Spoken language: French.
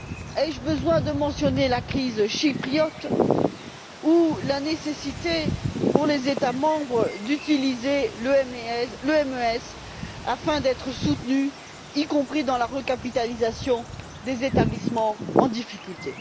Ai je besoin de mentionner la crise chypriote ou la nécessité pour les États membres d'utiliser le MES afin d'être soutenus, y compris dans la recapitalisation des établissements en difficulté?